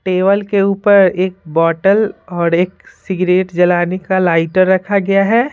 Table के ऊपर एक बोतल और एक सिगरेट जलाने का लाइटर रखा गया है।